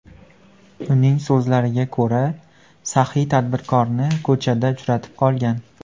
Uning so‘zlariga ko‘ra, saxiy tadbirkorni ko‘chada uchratib qolgan.